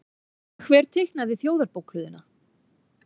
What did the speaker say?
Hver teiknaði Þjóðarbókhlöðuna?